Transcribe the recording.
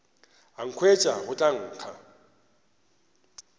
a nkhwetša go tla nkga